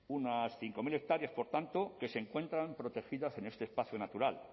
unas cinco mil hectáreas por tanto que se encuentran protegidas en este espacio natural